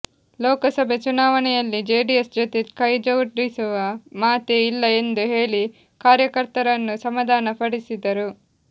ಲೋಕಸಭೆ ಚುನಾವಣೆಯಲ್ಲಿ ಜೆಡಿಎಸ್ ಜೊತೆ ಕೈಜೊಡಿಸುವ ಮಾತೇ ಇಲ್ಲ ಎಂದು ಹೇಳಿ ಕಾರ್ಯಕರ್ತರನ್ನು ಸಮಾಧಾನ ಪಡಿಸಿದರು